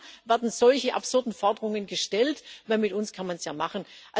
Aber hier werden solche absurden Forderungen gestellt, denn mit uns kann man es ja machen.